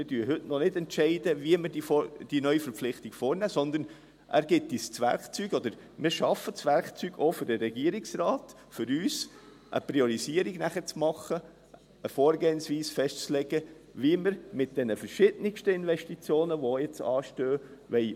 Wir entscheiden heute noch nicht, wie wir diese Neuverpflichtung vornehmen, sondern er gibt uns das Werkzeug, oder wir schaffen auch für den Regierungsrat das Werkzeug, um für uns eine Priorisierung zu machen, eine Vorgehensweise festzulegen, wie wir mit diesen verschiedensten Investitionen umgehen wollen, die jetzt anstehen.